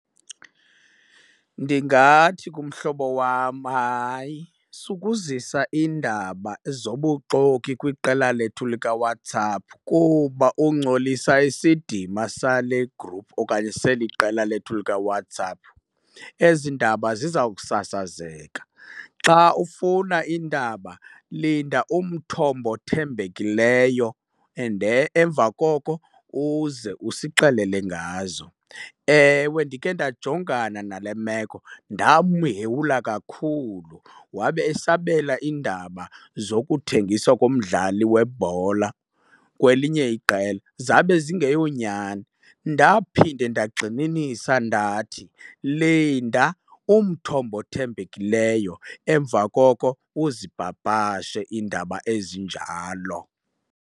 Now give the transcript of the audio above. Ndingathi kumhlobo wam, hayi sukuzisa iindaba zobuxoki kwiqela lethu likaWhatsApp kuba ungcolisa isidima sale gruphu okanye seli qela lethu likaWhatsApp, ezi ndaba ziza kusasazeka. Xa ufuna iindaba linda umthombo othembekileyo and emva koko uze usixelele ngazo. Ewe, ndikhe ndajongana nale meko ndamhewula kakhulu wabe esabela iindaba zokuthengiswa komdlali webhola kwelinye iqela zabe zingeyonyani. Ndaphinde ndagxininisa ndathi, linda umthombo othembekileyo emva koko uzipapashe iindaba ezinjalo.